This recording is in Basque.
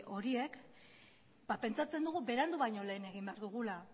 horiek pentsatzen dugu berandu baino lehen egin behar dugula